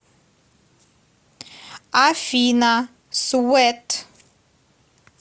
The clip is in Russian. афина свэт